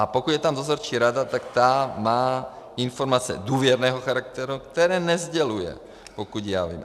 A pokud je tam dozorčí rada, tak ta má informace důvěrného charakteru, které nesděluje, pokud já vím.